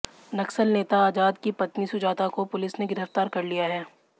नक्सल नेता आजाद की पत्नी सुजाता को पुलिस ने गिरफ्तार कर लिया है